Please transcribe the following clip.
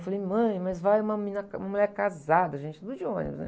Eu falei, mãe, mas vai uma menina ca, uma mulher casada, a gente de ônibus, né?